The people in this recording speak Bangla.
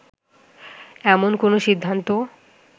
এমন কোন সিদ্ধান্তও